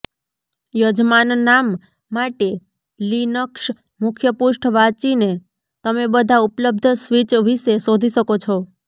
યજમાનનામ માટે લિનક્સ મુખ્ય પૃષ્ઠ વાંચીને તમે બધા ઉપલબ્ધ સ્વિચ વિશે શોધી શકો છો